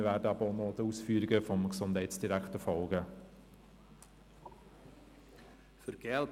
Wir werden auch noch den Ausführungen des Gesundheitsdirektors zuhören.